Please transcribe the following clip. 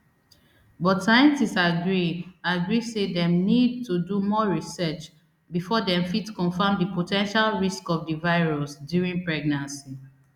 but scientists agree agree say dem need to do more research before dem fit confam di po ten tial risks of di virus during pregnancy